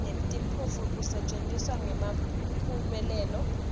netiphumuti kusetjentiswe ngemphumelelo